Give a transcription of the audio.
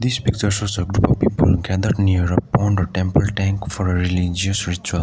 this picture shows a group of people gathered near a pond or temple tank for a religious ritual.